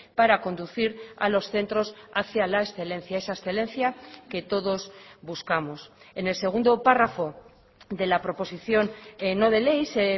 para conducir a los centros hacía la excelencia esa excelencia que todos buscamos en el segundo párrafo de la proposición no de ley se